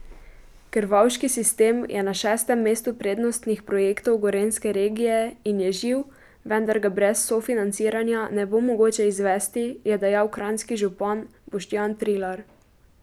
Krvavški sistem je na šestem mestu prednostnih projektov gorenjske regije in je živ, vendar ga brez sofinanciranja ne bo mogoče izvesti, je dejal kranjski župan Boštjan Trilar.